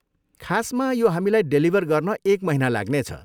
खासमा, यो हामीलाई डेलिभर गर्न एक महिना लाग्नेछ।